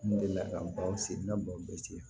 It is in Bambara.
N delila ka baw sen n ka baw ci